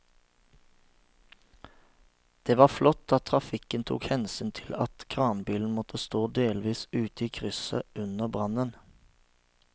Det var flott at trafikken tok hensyn til at kranbilen måtte stå delvis ute i krysset under brannen.